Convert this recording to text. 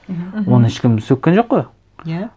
мхм мхм оны ешкім сөккен жоқ қой иә